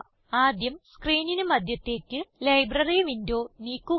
ആദ്യം സ്ക്രീനിന് മദ്ധ്യത്തേക്ക് ലൈബ്രറി വിൻഡോ നീക്കുക